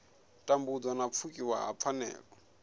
tambudzwa na pfukiwa ha pfanelo